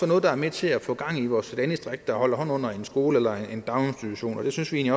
noget der er med til at få gang i vores landdistrikter og holde hånden under en skole eller en daginstitution og der synes vi